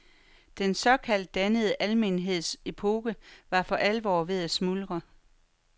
Den såkaldt dannede almenheds epoke var for alvor ved at smuldre.